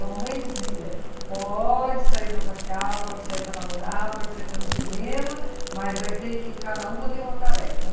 A mamãe dizia, pode sair para passear, pode sair para namorar, pode sair para ir no cinema, mas vai ter que... Cada uma tem uma tarefa.